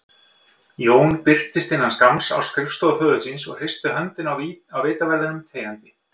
Jón birtist innan skamms á skrifstofu föður síns og hristi höndina á vitaverðinum þegjandi.